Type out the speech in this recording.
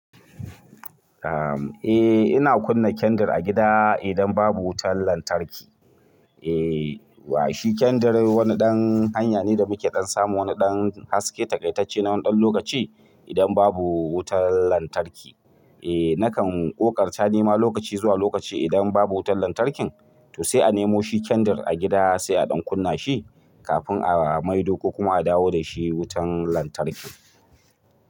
Eh ina kunna kendir a gida idan babu wutar lantarki. Eh wa shi kendir wani ɗan hanya ne da muke ɗan samu wani ɗan haske taƙaitacce na ɗan lokaci idan babu wutar lantarki. Eh nakan ƙoƙarta nema lokaci zuwa lokaci idan babu wutar lantarkin to sai a nemo shi kendir a gida sai a ɗan kunna shi kafin a maido ko kuma a dawo da shi wutan lantarki.